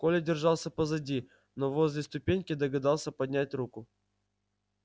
коля держался позади но возле ступеньки догадался поднять руку